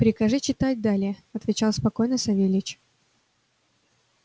прикажи читать далее отвечал спокойно савельич